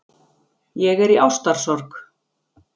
Ég er í ástarsorg.